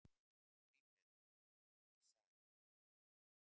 Grímheiður, hringdu í Sæ.